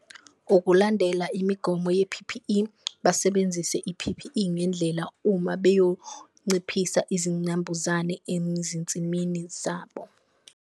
Ukulandela imigomo ye-P_P_E, basebenzise i-P_P_E ngendlela uma beyonciphisa izinambuzane enzinsimini zabo.